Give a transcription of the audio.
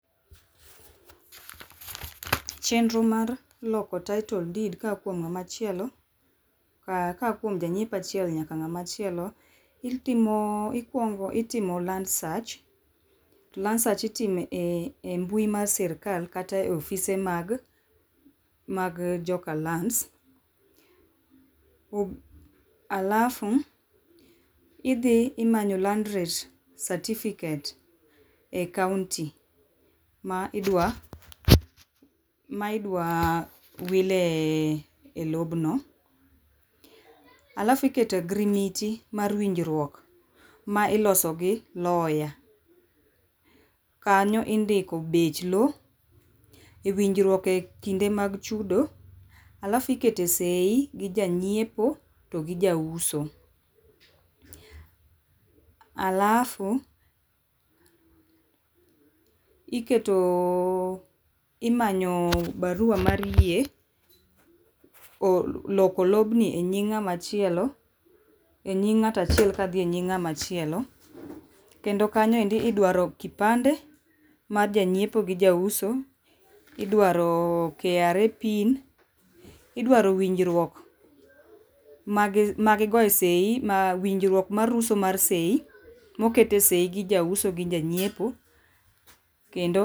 Chenro mar loko title deed koa kuom ngama chielo ka aya kuom janyiepo achiel nyaka ngama chielo, itimo ikuongo itimo land search, land search itimo e mbui mar sirkal kata e ofise mag joka lands, alafu idhi imanyo land rate certificate e kaunti ma idwa ,ma idwa wile e lobno. Alafu iketo e ogirimiti mar winjruok ma iloso gi lawyer, kanyo indiko bech loo, winjruok e kinde mag chudo alafu ikete seii gi janyiepo gi jauso alafu, iketo imanyo barua mar yie, loko lobni e nying ngama chielo, e nying ng'ata chiel kadhi e nying ngama chielo kendo kanyo idwaro kipande mar japnyiepo gi jauso, idwaroe KRA pin, idwaro winjruok magi goye seii ,winjruok mar uso mar seii, mokete seii gi jauso gi ja nyiepo kendo